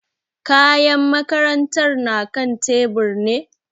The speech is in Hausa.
Kayan makarantar na kan tebur ne?